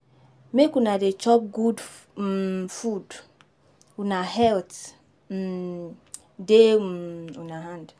Make una dey chop good um food, una health um dey um una hand.